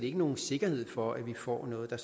ikke nogen sikkerhed for at vi får noget der